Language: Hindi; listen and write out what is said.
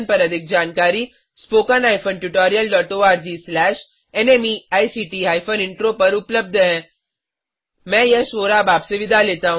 अधिक जानकारी के लिए httpspoken tutorialorgNMEICT Intro पर जाएँ आईआईटी बॉम्बे से मैं यश वोरा आपसे विदा लेता हूँ